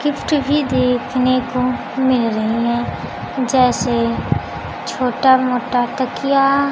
lift भी देखने को मिल रही हैं जैसे छोटा मोटा तकिया--